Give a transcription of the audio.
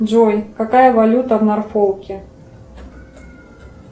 джой какая валюта в норфолке